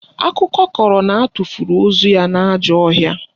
Akụkọ kọrọ na atụfuru ozu ya n'ajọ ọhịa